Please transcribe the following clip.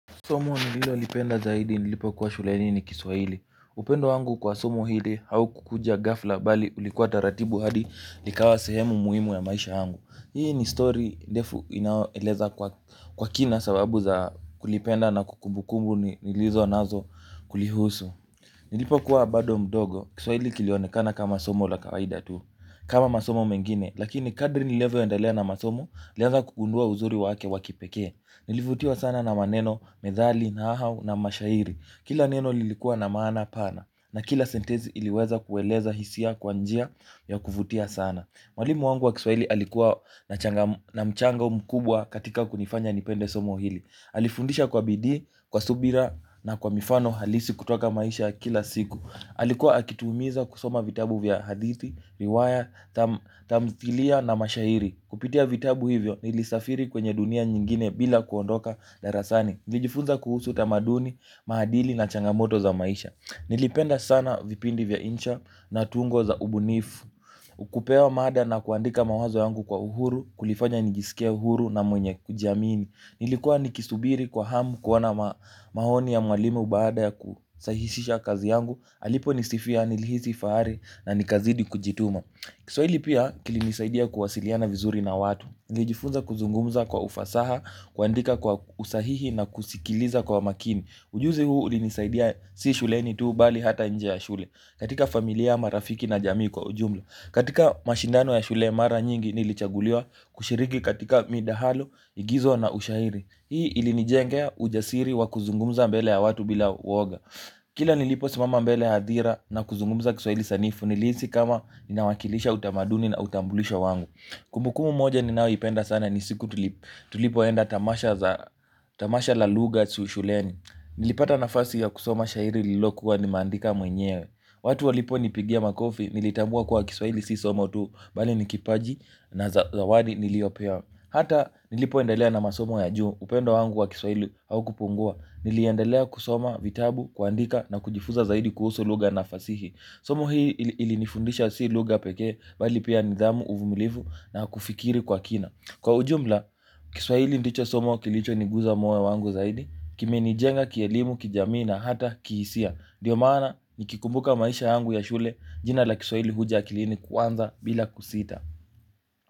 Somo nililolipenda zaidi nilipokuwa shuleni ni kiswaili. Upendo wangu kwa somo hiili hau kukuja gafla bali ulikuwa taratibu hadi likawa sehemu muimu ya maisha wangu. Upendo wangu kwa somo hili hau kukuja gafla bali ulikuwa taratibu hadi likawa sehemu muhimu ya maisha yangu. Nilipokuwa bado mdogo kiswahili kilionekana kama somo la kawaida tu. Kama masomo mengine lakini kadri nilivyo endelea na masomo nilianza kugundua uzuri wake wa kipekee, nilivutiwa sana na maneno methali, nahau na mashairi. Kila neno lilikuwa na maana pana na kila sentensi iliweza kueleza hisia kwa njia ya kuvutia sana, mwalimu wangu wa kiswahili alikuwa na changam, na mchanga mkubwa katika kunifanya nipende somo hili. Alifundisha kwa bidii, kwa subira na kwa mifano halisi kutoka maisha ya kila siku. Alikuwa akitumiza kusoma vitabu vya hadithi, viwaya, tamtilia na mashahiri. Kupitia vitabu hivyo nilisafiri kwenye dunia nyingine bila kuondoka darasani. Nijifunza kuhusu tamaduni, mahadili na changamoto za maisha. Nilipenda sana vipindi vya insha na tungo za ubunifu. Ukupewa mada na kuandika mawazo yangu kwa uhuru, kulifanya nijisike uhuru na mwenye kujamini. Nilikuwa nikisubiri kwa hamu kuona mahoni ya mwalimu baada ya kusahishisha kazi yangu, alipo nisifia nilihisi faari na nikazidi kujituma. Kiswaili pia kilinisaidia kuwasiliana vizuri na watu. Nijifunza kuzungumza kwa ufasaha, kuandika kwa usahihi na kusikiliza kwa makini. Ujuzi huu ulinisaidia si shuleni tu mbali ata nje ya shule. Katika familia marafiki na jamii kwa ujumla. Katika mashindano ya shule mara nyingi nilichaguliwa kushiriki katika midahalo igizo na ushahiri hii ilinijengea ujasiri wa kuzungumza mbele ya watu bila uoga kila nilipo simama mbele ya adhira na kuzungumza kiswaili sanifu nilisi kama ninawakilisha utamaduni na utambulisho wangu. Kumbukumu moja ninawe ipenda sana nisiku tulipoenda tamasha la luga suushuleni nilipata nafasi ya kusoma shahiri lilokuwa nimandika mwenyewe. Watu walipo nipigia makofi nilitambua kwa kiswaili sisomotu bali ni kipaji na zawadi niliopewa. Hata nilipo endalea na masomo ya juu upendo wangu wa kiswaili haukupungua. Niliendelea kusoma vitabu, kuandika na kujifuza zaidi kuhusu lugha na fasihi. Somo hii ilinifundisha si lugha pekee mbali pia nidhamu, uvumilivu na kufikiri kwa kina. Kwa ujumla kiswaili ndicho somo kilicho niguza mwe wangu zaidi. Kime nijenga kielimu kijamii na hata kihisia. Ndio maana nikikumbuka maisha yangu ya shule jina la kiswaili huja akilini kwanza bila kusita.